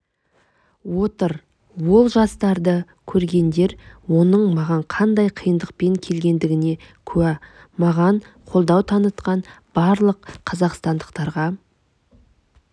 отыр ол жарыстарды көргендер оның маған қандай қиындықпен келгендігіне кәу маған қолдау танытқан барлық қазақстандықтарға